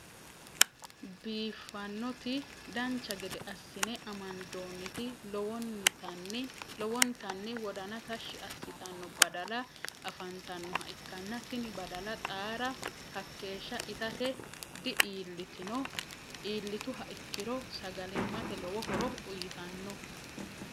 biifanoti dancha gedde asinne amandoonniti lowonitani wodanna tashi asitanno badala afantanoha ikanna tinni badala xaara hakeesha itate di'ilitinno iilituha ikiro sagalimate lowo horo uyitanno.